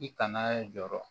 I kana jɔɔrɔ